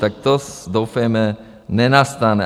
Tak to doufejme nenastane.